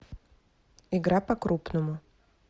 игра по крупному